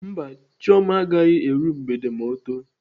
Mba, Chioma agaghị eru mgbede ma ọ too.